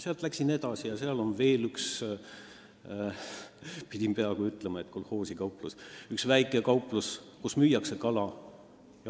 Sealt läksin edasi, seal on veel üks – pidin peaaegu ütlema, et kolhoosikauplus – väike kauplus, kus müüakse kala.